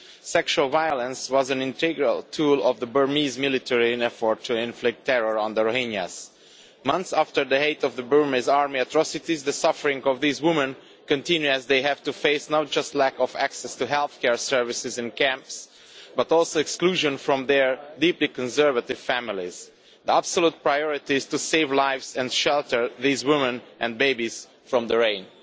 Sexual violence was an integral tool of the Burmese military in its effort to inflict terror on the Rohingyas. Months after the height of the Burmese army's atrocities, the suffering of these women continues, as they have to face not just a lack of access to healthcare services in the camps, but also exclusion from their deeply conservative families. The absolute priority is to save lives and to shelter these women and babies from the rains.